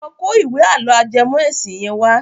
Lọ kó ìwé àlọ́ ajẹmọ́ ẹ̀sìn yẹn wá.